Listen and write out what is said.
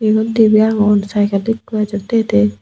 iyot dibey agon saikel ikko ejette dey.